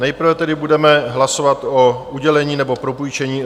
Nejprve tedy budeme hlasovat o udělení nebo propůjčení